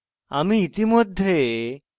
আমি ইতিমধ্যে এই email খুলেছি